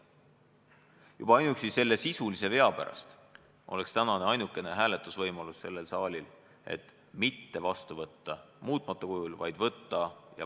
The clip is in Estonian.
Juba ainuüksi selle sisulise vea pärast on siin saalis täna ainukene võimalus otsustada mitte seda seadust muutmata kujul vastu võtta.